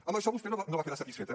amb això vostè no va quedar satisfeta